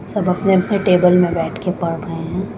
सब अपने अपने टेबल में बैठ के पढ़ रहे है।